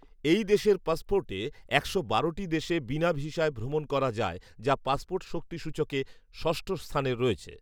এই দেশের পাসপোর্টে একশো বারোটি দেশে বিনা ভিসায় ভ্রমণ করা যায়, যা পাসপোর্ট শক্তি সূচকে ষষ্ঠ স্থানে রয়েছে